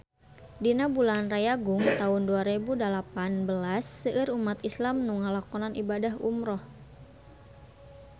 Dina bulan Rayagung taun dua rebu dalapan belas seueur umat islam nu ngalakonan ibadah umrah